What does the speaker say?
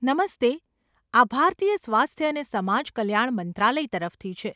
નમસ્તે! આ ભારતીય સ્વાસ્થ્ય અને સમાજ કલ્યાણ મંત્રાલય તરફથી છે.